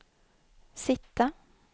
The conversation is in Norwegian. sitte